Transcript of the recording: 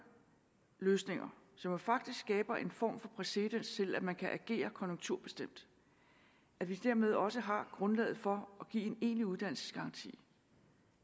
løsninger som jo faktisk skaber en form for præcedens til at man kan agere konjunkturbestemt dermed også har grundlaget for at give en egentlig uddannelsesgaranti